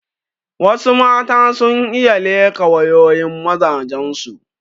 Wassu mata sun iya leƙa wayoyin mazajen su